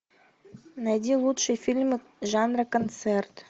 найди лучшие фильмы жанра концерт